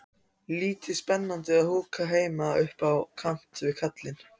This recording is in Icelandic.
Lítið spennandi að húka heima upp á kant við kallinn.